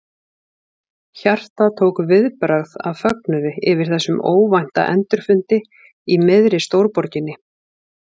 Hjartað tók viðbragð af fögnuði yfir þessum óvænta endurfundi í miðri stórborginni.